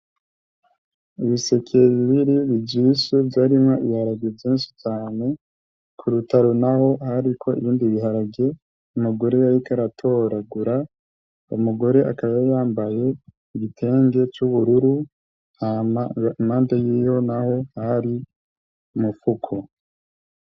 Ibiseke bibiri bivyibushe vyarimwo ibiharage vyinshi cane, ku rutaro n'aho hariko ibindi ibiharage umugore yariko aratoragura, uyo mugore akaba yambaye igitenge c'ubururu hama impande yiwe n'aho hari imifuko.